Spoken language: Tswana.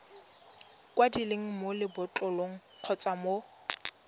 kwadilweng mo lebotlolong kgotsa mo